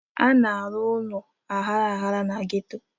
A na-arụ ụlọ aghara aghara na geto.